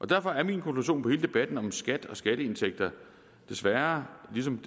derfor er min konklusion på hele debatten om skat og skatteindtægter desværre ligesom